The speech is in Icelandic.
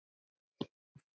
Ég?!